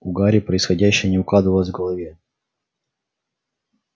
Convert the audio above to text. у гарри происходящее не укладывалось в голове